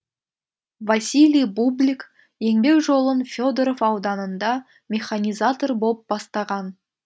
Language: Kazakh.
василий бублик еңбек жолын федоров ауданында механизатор боп бастаған